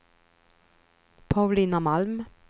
Paulina Malm